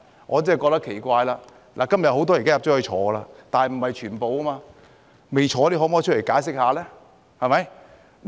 我真的覺得奇怪，他們很多人現時已身在獄中，但不是全部，未坐牢的可否出來解釋一下呢？